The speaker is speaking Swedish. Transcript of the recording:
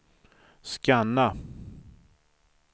scanna